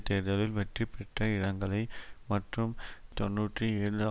தேர்தலில் வெற்றிபெற்ற இடங்களை மற்றும் தொன்னூற்றி ஏழு